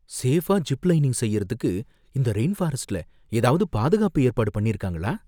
சேஃபா zip lining செய்யறதுக்கு இந்த ரெயின்ஃபாரஸ்ட்ல ஏதாவது பாதுகாப்பு ஏற்பாடு பண்ணிருக்காங்களா